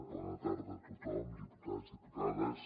bona tarda a tothom diputats diputades